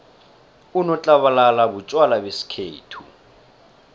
unotlabalala butjwala besikhethu